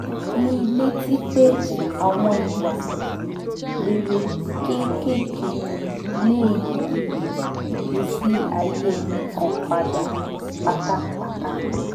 mi létí pé àwọn ìwà rere kéékèèké lè yí ìgbésí ayé ẹnì kan padà pátápátá